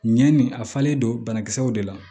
Ɲɛ nin a falen don banakisɛw de la